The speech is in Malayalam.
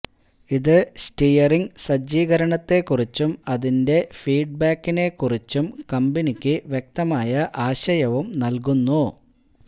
ഇത് സ്റ്റിയറിംഗ് സജ്ജീകരണത്തെക്കുറിച്ചും അതിന്റെ ഫീഡ്ബാക്കിനെക്കുറിച്ചും കമ്പനിക്ക് വ്യക്തമായ ആശയവും നൽകുന്നു